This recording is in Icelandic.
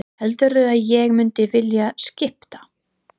Heldurðu að ég mundi vilja skipta?